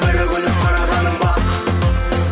бір күліп қарағаның бақ